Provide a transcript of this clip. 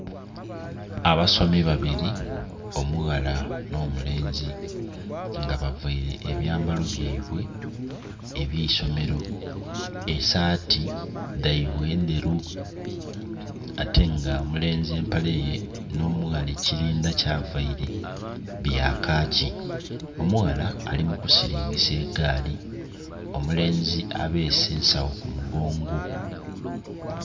Abasomi babiri omughala nho mulenzi nga bavaire ebyambalo byeibwe ebyeisomero, esati dhaibwe ndheru ate nga omulenzi empale ye nho omughala ekilindha kya vaire bya kaki. Omughala ali mu kusilingisa egaali omulenzi abese ensagho ku mugongo.